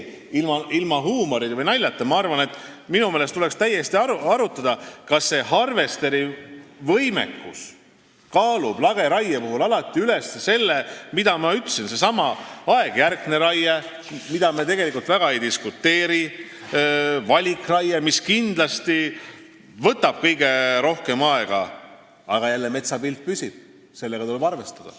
Ilma huumori või naljata, ma arvan, et minu meelest tuleks täiesti arutada, kas see harvesterivõimekus kaalub lageraie puhul alati üles selle, millest ma rääkisin: seesama aegjärkne raie, mille üle me tegelikult väga ei diskuteeri, valikraie, mis kindlasti võtab kõige rohkem aega, aga metsapilt jälle püsib, sellega tuleb arvestada.